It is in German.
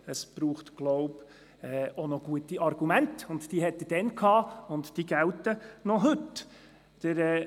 Es braucht auch noch gute Argumente, und diese hatte er damals vorgetragen und sie gelten heute noch.